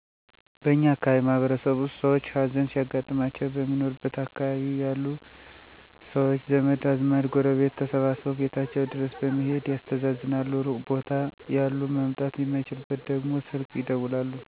በእኛ አካባቢ ማህበረሰብ ውስጥ ሰውች ሀዘን ሲያጋጥማቸው በሚኖሩበት አካባቢ ያሉ ሰውች ዘመድ አዝማድ ጎረቤቶች ተሰባስበው ቤታቸው ድረስ በመሔድ ያስተዛዝናሉ ሩቅ ቦታ ያሉ መምጣት የማይችሉት ደግሞ ስልክ ይደውላሉ። ለምሳሌ አንድ ሰው የቅርብ ቤተሰብ አባት፣ እናት፣ ልጅ፣ እህት ወይም ወንድም ቢሞትባቸው በሚኖርበት አካባቢ የቀበሌ እድር የሰንበቴ ማህበር የሚባል መረዳጃውች አሉ። እናም አንድ ሰው ሀዘን ሲያጋጥመው ከየመረዳጃውቹ በ ብርም ይረዳሉ፣ የማህበሩ አባላትም በአካልም በመገኝት የሀዘናቸው ተካፋይ በመሆን ያፅናናሉ።